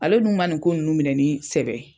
Ale dun ma nin ko nunnu minɛ ni sɛbɛ ye.